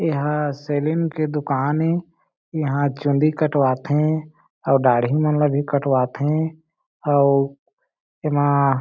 एहा सेलिंग की दुकान ए इहां चुंदी कटवाथे अउ दाढ़ी मन ला भी कटवाथे अउ एमा--